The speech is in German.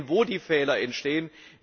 Sie sehen, wo die Fehler entstehen.